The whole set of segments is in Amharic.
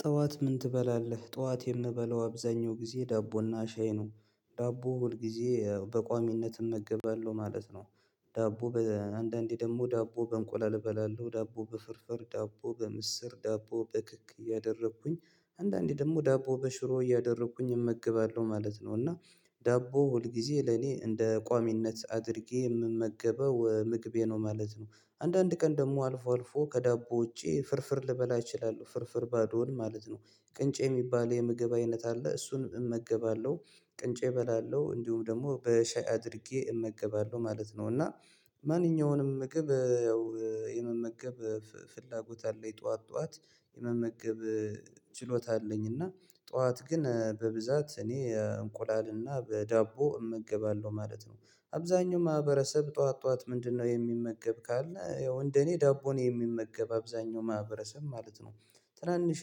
ጠዋት ምን ትበላለህ? ጠዋት የምበላው አብዛኛው ጊዜ ዳቦና ሻይ ነው ዳቦ ሁል ጊዜ በቋሚነት እመገባለሁ ማለት ነው። ዳቦ በአንዳንዴ ደግሞ ዳቦ በእንቆላል እበላለሁ ዳቦ በፍርፍር ዳቦ በምስር ዳቦ በክክ እያደረኩኝ አንዳንዴ ደግሞ ዳቦ በሽሮ እያደረኩኝ እመግባለሁ ማለት ነው። እና ዳቦ ሁል ጊዜ ለኔ እንደ ቋሚነት አድርጌ የምመገበው ምግቤ ነው ማለት ነው። አንዳንድ ቀን ደግሞ አልፎ አልፎ ከዳቦ ውጪ ፍርፍር ልበላ እችላለሁ ፍርፍር ባዶን ማለት ነው። ቅንጬ የሚባል የምግብ አይነት አለ እሱን እመገባለሁ። ቅንጬ እበላለሁ እንዲሁም ደግሞ በሻይ አድርጌ እመገባለሁ ማለት ነው። እና ማንኛውንም ምግብ ያው የመመገብ ፍላጎት አለኝ ጠዋት ጠዋት መመገብ ችሎታ አለኝ እና ጠዋት ግን በብዛት እኔ እንቁላልና በዳቦ እመገባለሁ ማለት ነው። አብዛኛው ማህበረሰብ ጠዋት ጠዋት ምንድነው? የሚመገብ ካለ ያው እንደኔ ዳቦን የሚመገብ አብዛኛው ማህበረሰብ ማለት ነው። ትናንሽ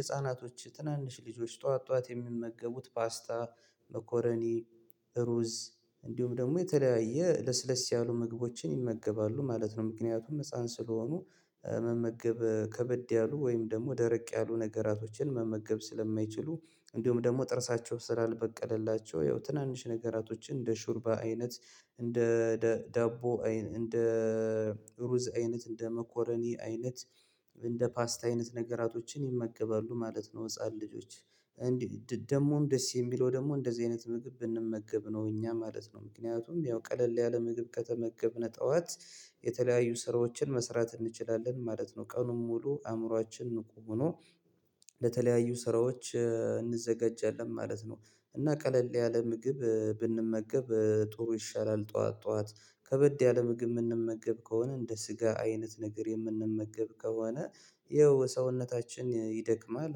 ህፃናቶች ትናንሽ ልጆች ጠዋት ጠዋት የሚመገቡት ፓስታ መኮረኒ ሩዝ እንዲሁም ደግሞ የተለያየ ለስለስ ያሉ ምግቦችን ይመገባሉ ማለት ነው። ምክንያቱም ህፃን ስለሆኑ መመገብ ከበድ ያሉ ወይም ደግሞ ደረቅ ያሉ ነገራቶችን መመገብ ስለማይችሉ እንዲሁም ደግሞ ጥርሳቸው ስላልበቀለላቸው ያው ትናንሽ ነገራቶችን እንደ ሹርባ አይነት እንደ ዳቦ እንደ ሩዝ አይነት እንደ መኮረኒ አይነት እንደ ፓስት አይነት ነገራቶችን ይመገባሉ ማለት ነው። ህፃን ልጆች እንዲ ደግሞም ደስ የሚለው ደግሞ እንደዚህ አይነት ምግብ ብንመገብ ነው እኛ ማለት ነው ምክንያቱም ያው ቀለል ያለ ምግብ ከተመገብነ ጠዋት የተለያዩ ስራዎችን መስራት እንችላለን ማለት ነው ቀኑን ሙሉ አእምሮአችን ንቁ ሆኖ ለተለያዩ ስራዎች እንዘጋጃለን ማለት ነው። እና ቀለል ያለ ምግብ ብንመገብ ጥሩ ይሻላል ጠዋት ጠዋት ከበድ ያለ ምግብ ምንመገብ ከሆነ እንደ ስጋ አይነት ነገር የምንመገብ ከሆነ ያው ሰውነታችን ይደክማል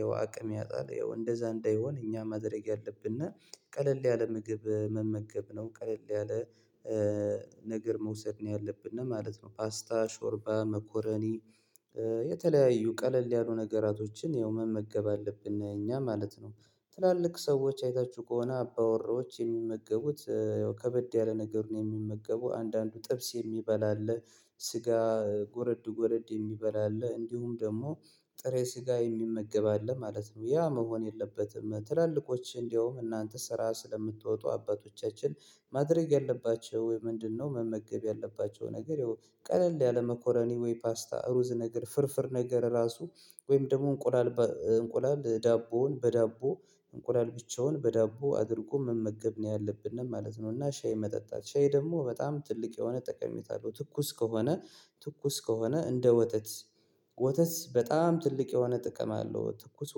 ያው አቅም ያጣል ያው እንደዛ እንዳይሆን እኛ ማድረግ ያለብነ ቀለል ያለ ምግብ መመገብ ነው ቀለል ያለ ነገር መውሰድ ነው ያለብነ ማለት ነው። ፓስታ ሾርባ መኮረኒ የተለያዩ ቀለል ያሉ ነገራቶችን ያው መመገብ አለብን እኛ ማለት ነው። ትላልቅ ሰዎች አይታችሁ ከሆነ አባወራዎች የሚመገቡት ያው ከበድ ያለ ነገሩን የሚመገቡ አንዳንዱ ጥብስ የሚበላ አለ ስጋ ጎረድ ጎረድ የሚበላ አለ እንዲሁም ደግሞ ጥሬ ስጋ የሚመገብ አለ ማለት ነው። ያ መሆን የለበትም ትላልቆች እንደውም እናንተ ስራ ስለምትወጡ አባቶቻችን ማድረግ ያለባቸው ምንድነው? መመገብ ያለባቸው ነገር ያው ቀለል ያለመኮረኒ ወይ ፓስታ ሩዝ ነገር ፍርፍር ነገር ራሱ ወይም ደግሞ እንቁላል እንቁላል ዳቦውን በዳቦ እንቁላል ብቻውን በዳቦ አድርጎ መመገብ ነው ያለብነ ማለት ነው። እና ሻይ መጠጣት ሻይ ደግሞ በጣም ትልቅ የሆነ ጠቀሜታ አለው ትኩስ ከሆነ ትኩስ ከሆነ እንደ ወተት ወተት በጣም ትልቅ የሆነ ጥቅም አለው ትኩስ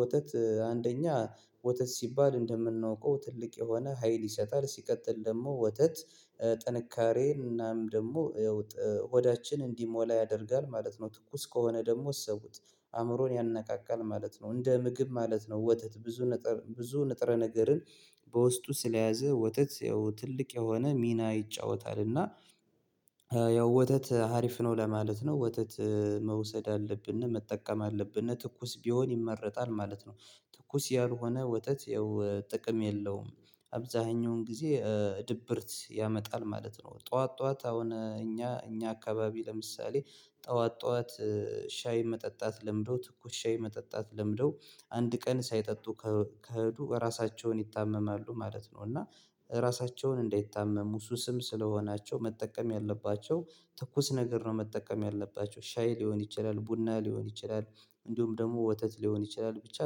ወተት አንደኛ ወተት ሲባል እንደምናውቀው ትልቅ የሆነ ሀይል ይሰጣል ሲቀጥል ደግሞ ወተት ጥንካሬ እናም ደሞ ሆዳችን እንዲሞላ ያደርጋል ማለት ነው። ትኩስ ከሆነ ደግሞ እሰቡት አእምሮን ያነቃቃል ማለት ነው እንደ ምግብ ማለት ነው ወተት ብዙነገር ብዙ ንጥረ ነገርን በውስጡ ስለያዘ ወተት ያው ትልቅ የሆነ ሚና ይጫወታል እና ያው ወተት ሀሪፍ ነው ለማለት ነው ወተት መውሰድ አለብነ መጠቀም አለብነ ትኩስ ቢሆን ይመረጣል ማለት ነው። ትኩስ ያልሆነ ወተት ያው ጥቅም የለውም አብዛሃኛውን ጊዜ ድብርት ያመጣል ማለት ነው። ጠዋት ጠዋት አሁን እኛ እኛ አካባቢ ለምሳሌ ጠዋት ጠዋት ሻይ መጠጣት ለምደው ትኩስ ሻይ መጠጣት ለምደው አንድ ቀን ሳይጠጡ ከሄዱ ራሳቸውን ይታመማሉ ማለት ነው። እና ራሳቸውን እንዳይታመሙ ሱስም ስለሆናቸው መጠቀም ያለባቸው ትኩስ ነገር ነው መጠቀም ያለባቸው ሻይ ሊሆን ይችላል ቡና ሊሆን ይችላል እንዲሁም ደግሞ ወተት ሊሆን ይችላል ብቻ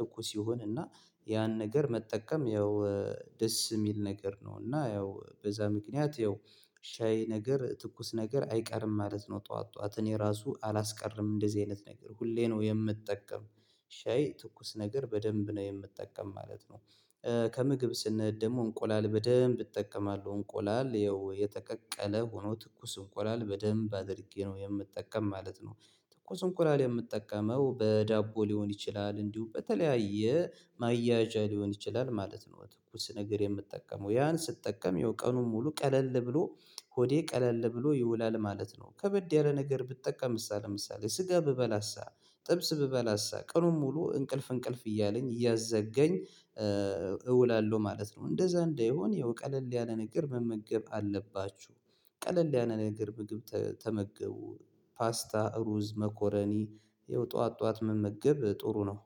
ትኩስ የሆነ ና ያን ነገር መጠቀም ያው ደስ ሚል ነገር ነው እና ያው በዛ ምክንያት ያው ሻይ ነገር ትኩስ ነገር አይቀርም ማለት ነው። ጠዋት ጠዋት እኔ ራሱ አላስቀርም እንደዚህ አይነት ነገር ሁሌ ነው ምጠቀም ሻይ ትኩስ ነገር በደምብ ነው የምጠቀም ማለት ነው። ከምግብ ስንሄድ ደግሞ እንቆላል በደንብ እጠቀማለሁ እንቆላል ያው የተቀቀለ ሆኖ ትኩስ እንቁላል በደንብ አድርጌ ነው የምጠቀም ማለት ነው። ትኩስ እንቁላል የምጠቀመው በዳቦ ሊሆን ይችላል እንዲሁ በተለያየ ማያያዣ ሊሆን ይችላል ማለት ነው። ትኩስ ነገር የምጠቀመው ያን ስጠቀም ያው ቀኑን ሙሉ ቀለል ብሎ ሆዴ ቀለል ብሎ ይውላል ማለት ነው ከበድ ያለ ነገር ብትጠቀምሳ ምሳሌ ስጋ ብበላሳ ጥብስ ብበላሳ ቀኑን ሙሉ እንቅልፍ እንቅልፍ እያለኝ እያዛገኝ እውላለሁ ማለት ነው። እንደዛ እንዳይሆን ያው ቀለል ያለ ነገር መመገብ አለባችሁ። ቀለል ያለ ነገር ምግብ ተመገቡ ፓስታ ሩዝ መኮረኒ ያው ጠዋት ጠዋት መመገብ ጥሩ ነው